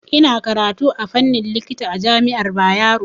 Ina karatu a fannin likita a jami'ar Bayero.